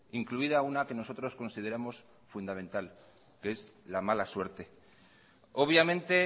incluida una que nosotros consideramos fundamental que es la mala suerte obviamente